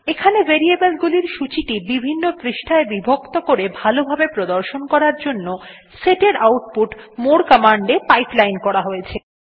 এখানে ভেরিয়েবল গুলির সূচীটি বিভিন্ন পৃষ্ঠায় বিভক্ত করে ভালো ভাবে প্রদর্শন করার জন্য set এর আউটপুট more কমান্ড এ পাইপলাইন করা হয়েছে